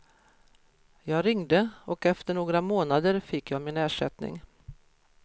Jag ringde och efter några månader fick jag min ersättning.